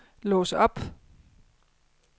lås op